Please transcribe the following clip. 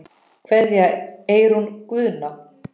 Kveðja, Eyrún Guðna.